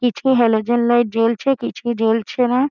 কিছু হেলোজেন ও জ্বলছে কিছু জ্বলছে না।